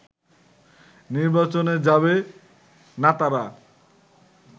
নির্বাচনে যাবে নাতারা